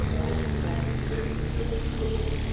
Yəni onun futbol biliyinə heç kimin yəqin ki, şübhəsi olmayacaq.